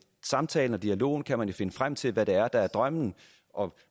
samtalen og dialogen kan man jo finde frem til hvad der er drømmen og